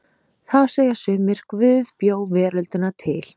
Þá segja sumir: Guð bjó veröldina til.